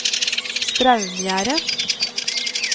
Straumgjerde